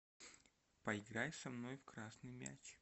поиграй со мной в красный мяч